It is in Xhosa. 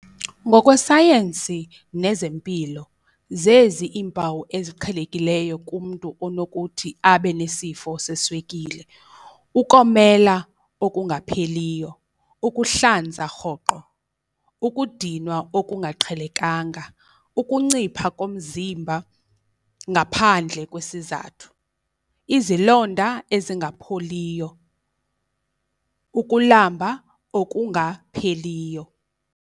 Ngokwesayensi nezempilo zezi iimpawu eziqhelekileyo kumntu onokuthi abe nesifo seswekile, ukomela okungapheliyo, ukuhlanza rhoqo, ukudinwa okungaqhelekanga, ukuncipha komzimba ngaphandle kwesizathu, izilonda ezingapholiyo, ukulamba okungapheliyo.